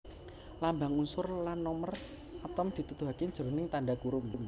Lambang unsur lan nomer atom dituduhaké jroning tandha kurung